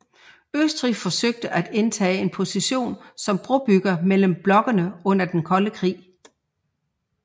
Østrig forsøgte at indtage en position som brobygger mellem blokkene under den kolde krig